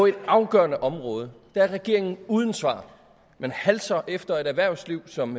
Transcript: et afgørende område er regeringen uden svar man halser efter et erhvervsliv som